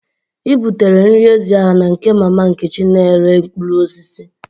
I butela nri ezi ahụ na nke mama Nkechi na-ere mkpụrụ osisi?